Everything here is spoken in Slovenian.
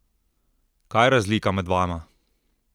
Kaj je razlika med vama?